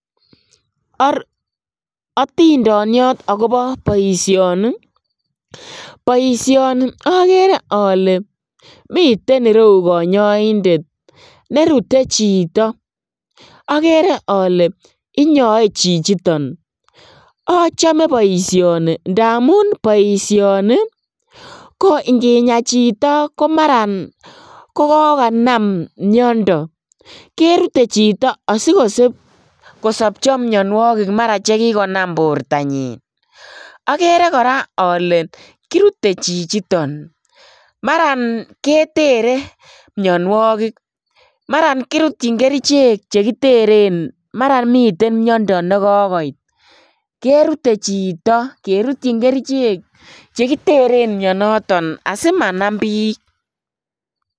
Otindoniot akobo boisioni ii ,boisioni okere ole miten ireu konyoindet nerute chito, okere ole inyoe chichiton ochome boisioni ndamun boisioni ko inginyaa chito komaran kokokanam miondo, kerute chito asikosobcho mionuokik maran chelikonam bortanyin, okere koraa ole kirute chichiton maran ketere mionuokik maran kirutchin kerichek chekiteren maraa miten miondo nekokoit kerute chito kerutchin kerichek chekiteren mionoton asimanam bik.